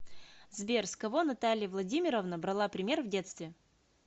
сбер с кого наталья владимировна брала пример в детстве